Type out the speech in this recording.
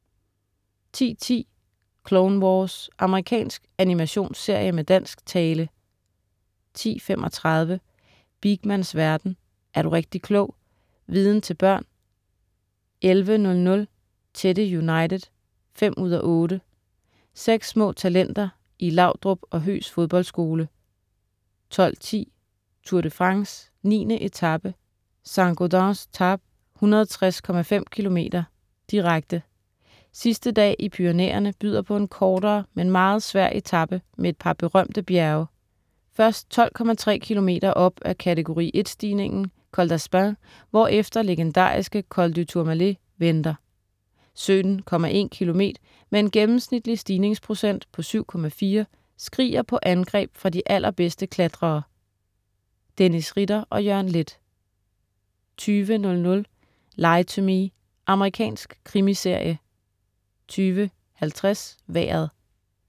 10.10 Clone Wars. Amerikansk animationsserie med dansk tale 10.35 Beakmans verden. Er du rigtig klog! Viden til børn! 11.00 Teddy United 5:8. Seks små talenter i Laudrup og Høghs fodboldskole 12.10 Tour de France: 9. etape, Saint-Gaudens - Tarbes, 160,5 km, direkte Sidste dag i Pyrenæerne byder på en kortere, men meget svær etape med et par berømte bjerge. Først 12,3 km op af kategori 1-stigningen Col d'Aspin, hvorefter legendariske Col du Tourmalet venter. 17,1 km med en gennemsnitlig stigningsprocent på 7,4 skriger på angreb fra de allerbedste klatrere. Dennis Ritter og Jørgen Leth 20.00 Lie to Me. Amerikansk krimiserie 20.50 Vejret